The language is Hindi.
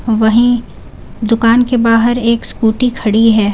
वहीं दुकान के बाहर एक स्कूटी खड़ी है।